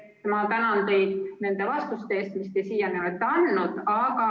Ma tänan teid nende vastuste eest, mis te siiamaani olete andnud!